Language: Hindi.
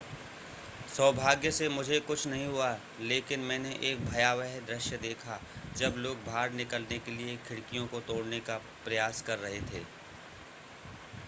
सौभाग्य से मुझे कुछ नहीं हुआ लेकिन मैंने एक भयावह दृश्य देखा जब लोग बाहर निकलने के लिए खिड़कियों को तोड़ने का प्रयास कर रह थे